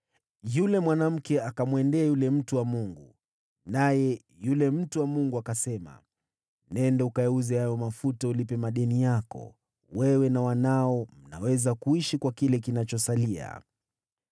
Yule mwanamke akaenda akamwambia yule mtu wa Mungu, naye mtu wa Mungu akasema, “Nenda ukayauze hayo mafuta ulipe madeni yako. Wewe na wanao mnaweza kuishi kwa kile kinachosalia.”